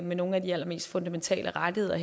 med nogle af de allermest fundamentale rettigheder